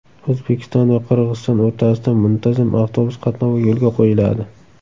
O‘zbekiston va Qirg‘iziston o‘rtasida muntazam avtobus qatnovi yo‘lga qo‘yiladi.